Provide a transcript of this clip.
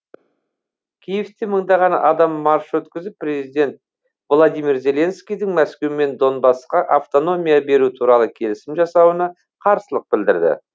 киевте мыңдаған адам марш өткізіп президент владимир зеленскийдің мәскеумен донбассқа автономия беру туралы келісім жасауына қарсылық білдірді